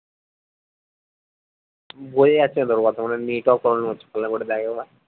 বইয়ে আছিলো